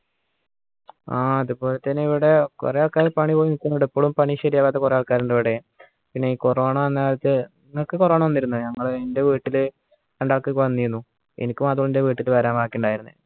ആഹ് അതുപോലെതന്നെ ഇവിടെ കുറെ ആൾക്കാർ പണി പോയി നിക്കുന്നുണ്ട് ഇപ്പോളും പണി ശരിയാവാത്ത കുറേ ആൾക്കാർ ഉണ്ട് ഇവിടെ പിന്നെ ഈ corona വന്ന കാലത്ത് നിങ്ങക്ക് corona വന്നിരുന്ന ഞങ്ങളെ എൻ്റെ വീട്ടിൽ രണ്ടാൾക്കൊക്കെ വന്നീനു എനിക്ക് മാത്രമേ എന്റെ വീട്ടിക്ക് വരാൻ ബാക്കിയുണ്ടായിരുന്നുള്ളൂ